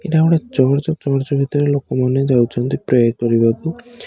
ଏଇଟା ଗୋଟେ church church ଭିତରେ ଲୋକମାନେ ଯାଉଚନ୍ତି ପ୍ରେ କରିବାକୁ।